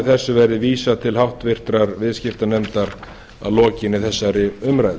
þessu verði vísað til háttvirtrar viðskiptanefndar að lokinni þessari umræðu